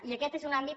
i aquest és un àmbit